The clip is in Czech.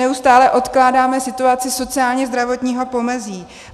Neustále odkládáme situaci sociálně-zdravotního pomezí.